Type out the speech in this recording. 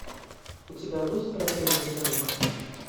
у тебя будет противный ребенок